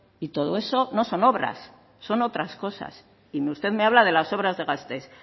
y todo eso no son obras son otras cosas y usted me habla de las obras de gasteiz